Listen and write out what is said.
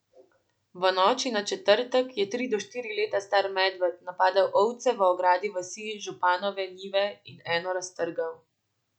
V noči na četrtek je tri do štiri leta star medved napadel ovce v ogradi vasi Županove Njive in eno raztrgal.